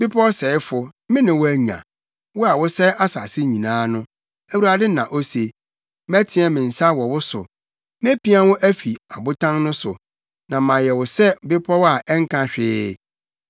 “Bepɔw sɛefo, me ne wo anya, wo a wosɛe asase nyinaa no,” Awurade na ose. “Mɛteɛ me nsa wɔ wo so mepia wo afi abotan no so, na mayɛ wo sɛ bepɔw a ɛnka hwee.